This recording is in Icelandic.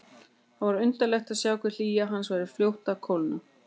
Það var undarlegt að sjá hve hlýja hans var fljót að kólna.